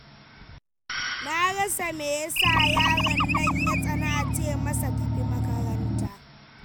Na rasa me ya sa, yaro nan ya tsani a ce masa tafi makaranta